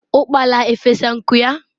ukpala efesa nku ya?